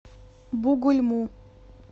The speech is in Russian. бугульму